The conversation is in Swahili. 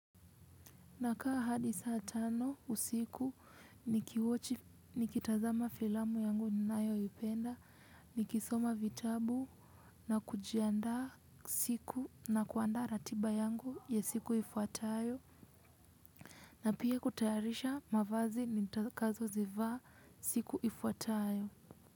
Na kaa hadi saa tano usiku ni kiwochi ni kitazama filamu yangu ni nayo ipenda ni kisoma vitabu na kujianda siku na kuanda ratiba yangu ya siku ifuatayo. Na pia kutayarisha mavazi nitakazo zivaa siku ifuatayo.